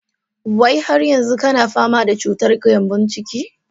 Wai har yanzu kana fama da cutar gembon ciki?